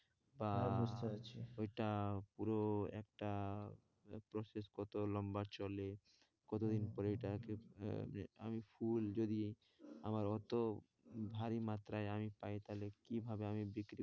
বা ওইটা হ্যাঁ বুঝতে পারছি পুরো একটা process কতো লম্বা চলে? কতোদিন পরে ওইটাকে আমি ফুল যদি আমার অতো ভারী মাত্রায় আমি পাই তাহলে কিভাবে আমি বিক্রি?